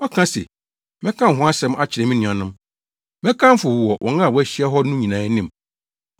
Ɔka se, “Mɛka wo ho asɛm akyerɛ me nuanom, mɛkamfo wo wɔ wɔn a wɔahyia hɔ no nyinaa anim.”